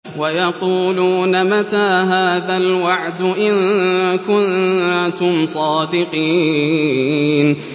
وَيَقُولُونَ مَتَىٰ هَٰذَا الْوَعْدُ إِن كُنتُمْ صَادِقِينَ